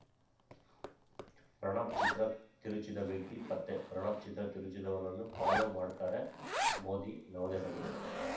ಪ್ರಣಬ್‌ ಚಿತ್ರ ತಿರುಚಿದ ವ್ಯಕ್ತಿ ಪತ್ತೆ ಪ್ರಣಬ್‌ ಚಿತ್ರ ತಿರುಚಿದವನನ್ನು ಫಾಲೋ ಮಾಡ್ತಾರೆ ಮೋದಿ ನವದೆಹಲಿ